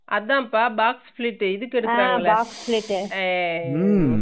அதாப்பா boxflip உ இதுக்கு எடுக்குறாங்கள அஹ உம்